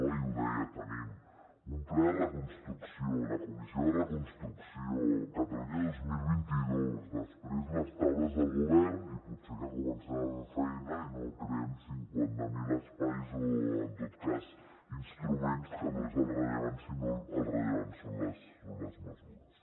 ahir ho deia tenim un pla de reconstrucció la comissió de reconstrucció el catalunya dos mil vint dos després les taules del govern i potser que comencem a fer feina i no creem cinquanta mil espais o en tot cas instruments que no és el rellevant sinó que el rellevant són les mesures